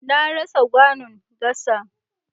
Na rasa kwanon gasa.